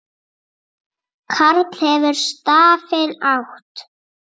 Karl hefur stafinn átt.